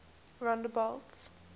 rondebult